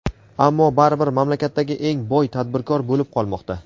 ammo baribir mamlakatdagi eng boy tadbirkor bo‘lib qolmoqda.